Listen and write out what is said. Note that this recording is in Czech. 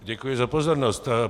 Děkuji za pozornost.